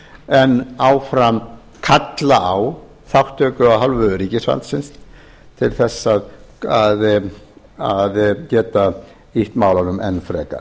en áfram kalla á þáttökuaf hálfu ríkisvaldsins til að geta ýtt málunum enn frekar